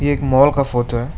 एक मॉल का फोटो है।